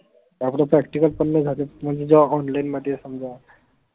आपल practical पन नाई झालेत म्हणजे जेव्हा online मध्ये समजा